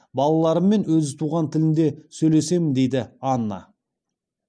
балаларыммен өз туған тілінде сөйлесемін дейді анна